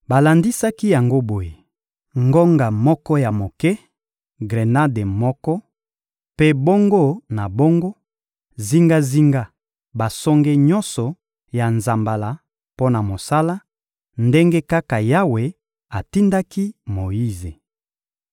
Balandisaki yango boye: ngonga moko ya moke, grenade moko, mpe bongo na bongo, zingazinga ya basonge nyonso ya nzambala mpo na mosala, ndenge kaka Yawe atindaki Moyize.